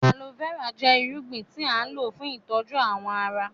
Aloe vera jẹ ìrúgbìn tí a n lọ fún ìtọju awọn àrà.